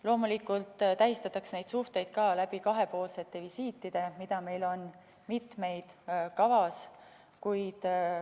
Loomulikult tähistatakse neid suhteid ka kahepoolsete visiitidega, mida meil on kavas mitu.